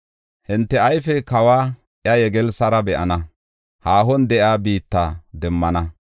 Hinte ayfey kawa, iya yegelssara be7ana; haahon de7iya biitta demmana.